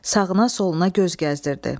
Sağına soluna göz gəzdirdi.